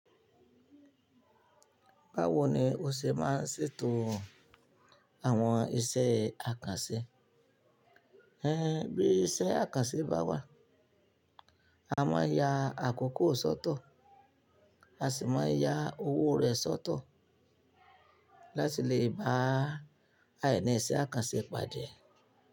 Báwo ni o ṣe máa ń ṣètò àwọn iṣẹ́ àkànṣe? Ẹ́n bí iṣẹ́ àkànṣe bá wà, a máa ya àkókò sọ́tọ̀, a sì máa ya owó rẹ̀ sọ́tọ̀ láti lè bá àìní iṣẹ́ àkànṣe pàdé.